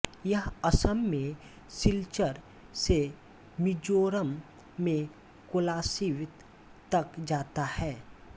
यह असम में सिलचर से मिज़ोरम में कोलासिब तक जाता है